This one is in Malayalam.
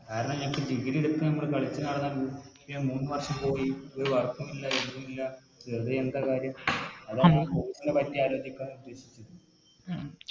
ആ കാരണം Degree എട്ത്ത് മ്മള് കളിച്ച് നടന്ന മൂന്ന് വർഷം പോയി ഒരു Work ഉ ഇല്ല ഇതല്ല വെറുതെ എന്താ കാര്യം Course നെ പറ്റി ആലോചിക്കാന്ന് ഉദ്ദേശിക്കുന്നത്